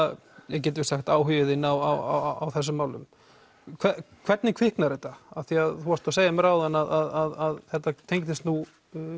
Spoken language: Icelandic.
getum við sagt áhugi þinn á þessum málu hvernig kviknar þetta af því að þú varst að segja mér áðan að þetta tengdist